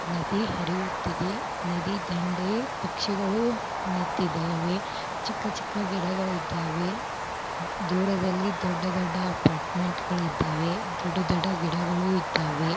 ನದಿ ಹರಿಯುತಿದೆ ನದಿ ದಂಡೆ ಪಕ್ಷಿಗಳು ನಿಟ್ಟಿದವೆ ಚಿಕ್ಕ ಚಿಕ್ಕ ಗಿಡಗಳು ಇದ್ದಾವೆ ದೂರ ದಲ್ಲಿ ದೊಡ್ಡ ದೊಡ್ಡಅಪಾರ್ಟ್ಮೆಂಟ್ ಗಳಿದ್ದಾವೆ ದೊಡ್ಡ ದೊಡ್ಡ ಗಿಡಗಳು ಇದ್ದಾವೆ.